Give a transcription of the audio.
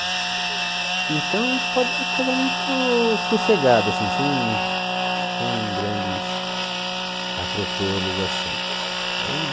Então a gente pode dizer que casamento sossegado assim, sem sem grandes atropelos assim. Daí